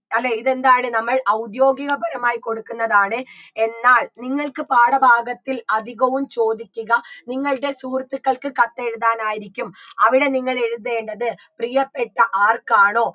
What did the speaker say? അല്ലേ ഇതെന്താണ് നമ്മൾ ഔദ്യോഗിക പരമായി കൊടുക്കുന്നതാണ് എന്നാൽ നിങ്ങൾക്ക് പാഠഭാഗത്തിൽ അധികവും ചോദിക്കുക നിങ്ങൾടെ സുഹൃത്തുക്കൾക്ക് കത്തെഴുതാനായിരിക്കും അവിടെ നിങ്ങൾ എഴുതേണ്ടത് പ്രിയപ്പെട്ട ആർക്കാണോ